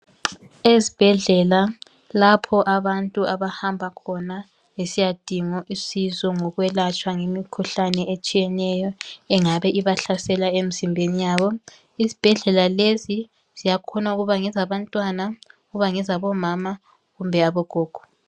Ezibhedlela lapho abantu abahamba khona besiyadinga usizo ngokwelatshwa ngemikhuhlane etshiyeneyo engabe ibahlasela emzimbeni yabo. Izibhedlela lezi ziyakhona ukuba ngezabantwana, ukuba ngezabomama kumbe abogogo.